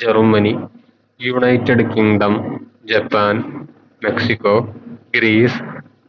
Germany United Kingdom Japan Mexico Greece